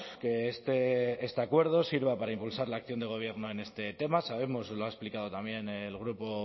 que este acuerdo sirva para impulsar la acción de gobierno en este tema sabemos y lo ha explicado también el grupo